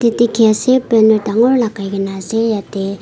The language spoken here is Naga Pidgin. banner dangor lagai gina ase yete--